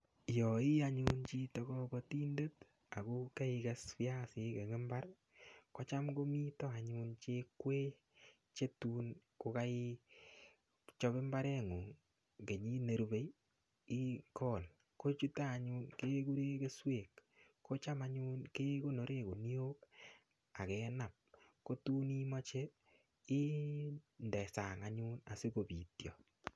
Yo ii anyun chito kobotindet ako keikes viasik eng mbar ko cham komito anyun che kwee che tun kukeichop mbareng'ung' kenyit nerubei ikol kochuto anyun kekure keswek ko cham anyun kekonoren kuniok akenap ko tun imoche inde sang anyun asikobitio.